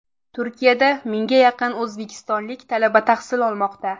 Turkiyada mingga yaqin o‘zbekistonlik talaba tahsil olmoqda.